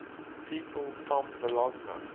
people from bologna